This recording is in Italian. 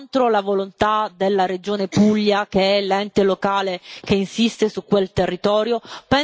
Contro la volontà della Regione Puglia, che è l'ente locale che insiste su quel territorio?